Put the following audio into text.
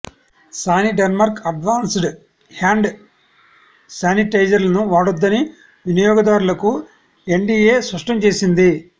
Saniderm advanced hand శానిటైజర్లను వాడొద్దని వినియోగదారులకు ఎఫ్డీఏ స్పష్టం చేసింది